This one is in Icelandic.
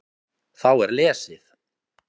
Þá er lesið